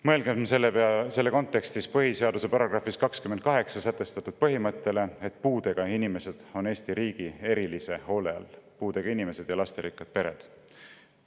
Mõelgem selles kontekstis põhiseaduse §‑s 28 sätestatud põhimõttele, mille kohaselt puudega inimesed on Eesti riigi erilise hoole all, puudega inimesed ja lasterikkad pered.